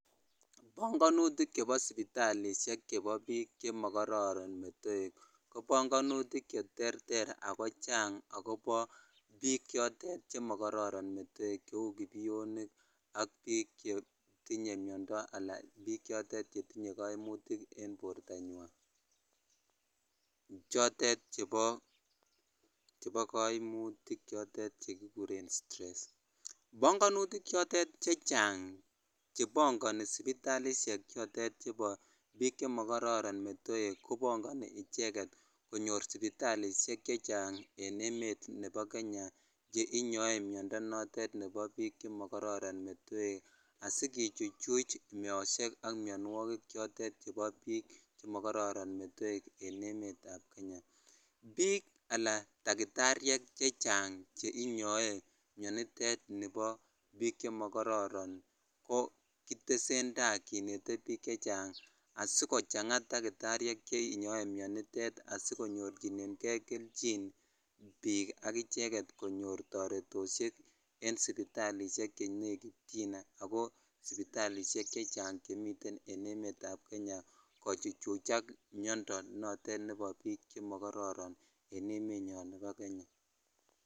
Bong'onutik chebo sipitalishek chebo biik chemokororon metoek ko bong'onutik cheterter ak ko chang ak kobo biik chotet chon mokororon metoek cheuu kipionik ak biik chetinye miondo alaa biik chotet chetinye koimutik en bortanywan chotet chebo koimutik chotet chekikuren stress, bongonutik chotet chechang chebong'oni sipitalishek chotet chebo biik chemokororon metoek kobong'oni icheket konyor sipitalishek chechang en emet nebo Kenya chekinyorn miondo notet nebo biik chemokororon metoek asikichuch meoshek ak mionwokik chotet chebo biik chemokororon metoek en emetab Kenya, biik alaa takitariek chechang cheinyoe mionitet nibo biik chemokororon ko kitesentaa kinete biik chechang asikochang'a takitariek chenyoe mionitet sikonyorchineng'e kelchin biik ak icheket konyor toretoshek en sipitalishek chenekityin ak ko sipitalishek chechang chemiten en emetab Kenya kochuchuchak miondo notet nebo biik chemokororon en emenyon nebo kenya.